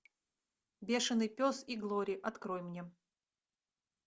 бешеный пес и глори открой мне